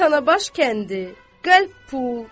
Tanabaş kəndi qəlb pul.